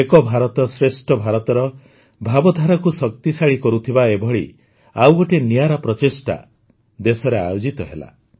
ଏକ ଭାରତଶ୍ରେଷ୍ଠ ଭାରତର ଭାବଧାରାକୁ ଶକ୍ତିଶାଳୀ କରୁଥିବା ଏଭଳି ଆଉ ଗୋଟିଏ ନିଆରା ପ୍ରଚେଷ୍ଟା ଦେଶରେ ଆୟୋଜିତ ହେଲା